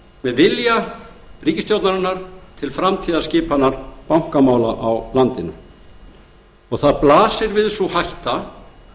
með vilja ríkisstjórnarinnar til framtíðarskipunar bankamála í landinu við blasir sú hætta